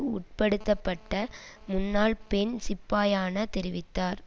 உட்படுத்தப்பட்ட முன்னாள் பெண் சிப்பாயான தெரிவித்தார்